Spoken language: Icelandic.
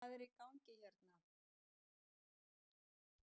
Hvað er í gangi hérna